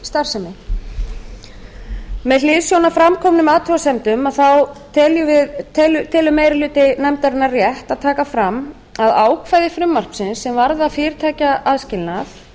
sérleyfisstarfsemi með hliðsjón af fram komnum athugasemdum telur meiri hluti nefndarinnar rétt að taka fram að ákvæði frumvarpsins sem varða fyrirtækjaaðskilnað